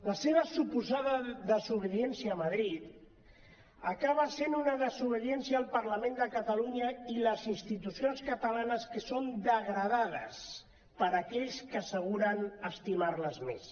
la seva suposada desobediència a madrid acaba sent una desobediència al parlament de catalunya i les institucions catalanes que són degradades per aquells que asseguren estimar les més